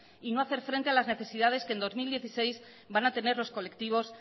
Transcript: y no hacer frente a las necesidades que en dos mil dieciséis van a tener los colectivos